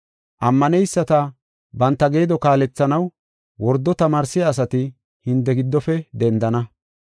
Ammaneyisata banta geedo kaalethanaw wordo tamaarsiya asati hinte giddofe dendana.